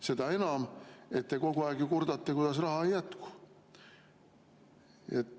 Seda enam, et te kogu aeg ju kurdate, kuidas raha ei jätku.